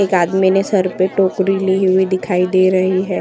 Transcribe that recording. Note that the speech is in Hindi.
एक आदमी ने सर पर टोकरी ली हुई दिखाई दे रही है।